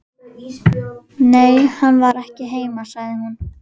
Nei, hann var ekki heima, sagði hún.